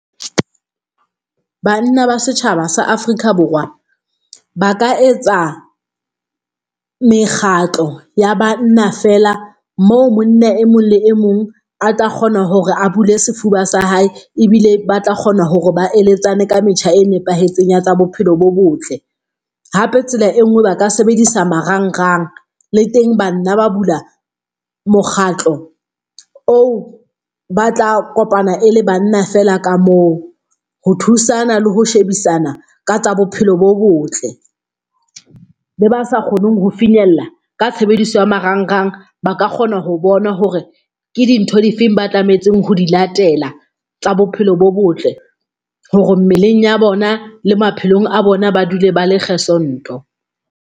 Banna ba setjhaba sa Afrika Borwa ba ka etsa mekgatlo ya banna feela moo monna e mong le e mong a tla kgona hore a bule sefuba sa hae ebile ba tla kgona hore ba eletsane ka metjha e nepahetseng ya tsa bophelo bo botle. Hape tsela e nngwe ba ka sebedisa marangrang le teng banna ba bula mokgatlo oo, ba tla kopana e le banna feela ka moo ho thusana le ho shebisana ka tsa bophelo bo botle. Le ba sa kgoneng ho finyella ka tshebediso ya marangrang ba ka kgona ho bona hore ke dintho di feng ba tlametseng ho di latela tsa bophelo bo botle hore mmeleng ya bona le maphelong a bona, ba dule ba le gesond-o.